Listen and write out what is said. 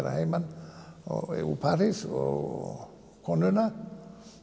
að heiman frá París og konuna